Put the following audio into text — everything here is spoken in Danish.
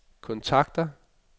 kontakter